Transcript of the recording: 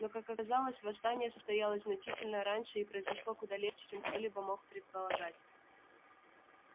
но как оказалось восстание состоялось значительно раньше и произошло куда легче чем кто-либо мог предполагать